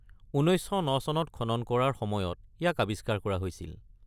১৯০৯ চনত খনন কৰাৰ সময়ত ইয়াক আৱিস্কাৰ কৰা হৈছিল।